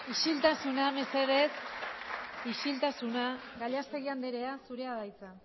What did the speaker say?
isiltasuna euskal sozialistak gallastegui andrea zurea da hitza